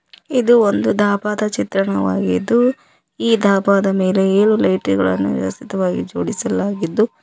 ಇದು ಒಂದು ಡಾಬಾದ ಚಿತ್ರಣವಾಗಿದ್ದು ಈ ಡಾಬಾದ ಮೇಲೆ ಏಳು ಲೈಟುಗಳನ್ನು ವ್ಯವಸ್ಥಿತವಾಗಿ ಜೋಡಿಸಲಾಗಿದ್ದು--